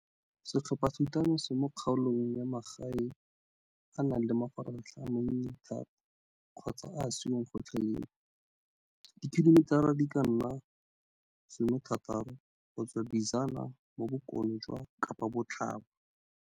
Setlhophathutano se mo kgaolong ya magae e e nang le mafaratlhatlha a mannye thata kgotsa a a se yong gotlhelele, dikhilomitara di ka nna 60 go tswa Bizana mo bokone jwa Kapabotlhaba.